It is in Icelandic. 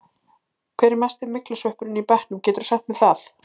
Hver er mesti myglusveppurinn í bekknum, geturðu sagt mér það?